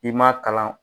I ma kalan